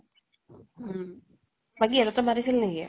উম । বাকী ইহতঁৰ তাত মাতিছিল নেকি?